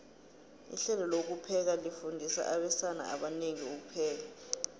ihlelo lokupheka lifundisa abesana abanengi ukupheka